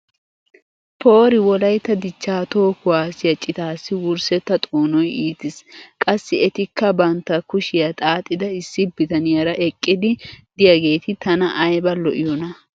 poori wolaytta dichaa toho kuwaassiya citaassi wurssetta xoonoy ittiis! qassi etikka bantta kushiya xaaxxida issi bitaniyaara eqqidi diyageeti tana ayba lo'iyoonaa!